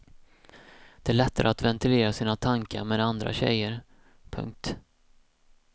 Det är lättare att ventilera sina tankar med andra tjejer. punkt